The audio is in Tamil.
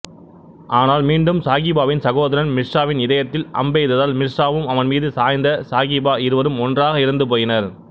ஆனால் மீண்டும் சாகிபாவின் சகோதரன் மிர்சாவின் இதயத்தில் அம்பெய்ததால் மிர்சாவும் அவன்மீது சாய்ந்த சாகிபா இருவரும் ஒன்றாக இறந்து போயினர்